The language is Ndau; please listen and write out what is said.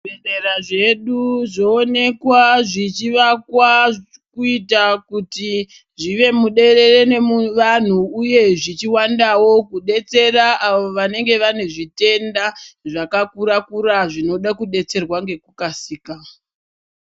Zvibhedhlera zvedu zvoknekwa zvichivakwa kuita kuti zvive muderere nemuvantu uye zvichiwandawo kudetsera avo vanenge vane zvitenda zvakakura kura zvinode kudetserwa ngekukasika.